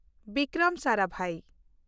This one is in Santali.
ᱵᱤᱠᱨᱚᱢ ᱥᱟᱨᱟᱵᱷᱟᱭ